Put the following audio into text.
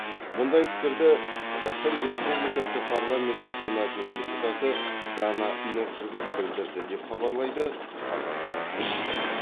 мұндай пікірді қазақстан республикасы парламенті сенатының депутаты дана нұржігіт білдірді деп хабарлайды қазақпарат тілшісі